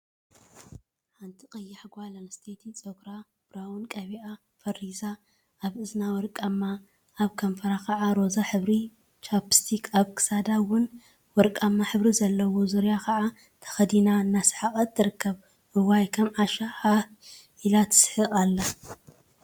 ሓንቲ ቀያሕ ጓል አንስተይቲ ፀጉራ ቡረውን ቀቢአ ፈሪዛ አብ እዝና ወርቃማ፣ አብ ከንፈራ ከዓ ሮዛ ሕብሪ ቻፕስቲክ፣ አብ ክሳዳ እውን ወርቃማ ሕብሪ ዘለዋን ዙርያ ከዓ ተከዲናን እናሰሓቀት ትርከብ፡፡ እዋይ! ከም ዓሻ ሃህ ኢላ ትስሕቅ አላ፡፡